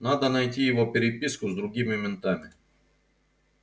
надо найти его переписку с другими ментами